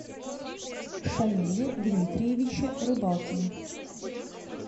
шамиле дмитриевиче рыбалкине